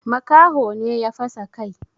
Makaho ne ya fasa kai.